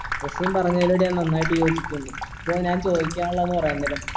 റസിന് പറഞ്ഞതിനോട് ഞാൻ നന്നായിട്ട് യോജിക്കുന്നു അപ്പോൾ ഞാൻ ചോദിക്കാനുള്ള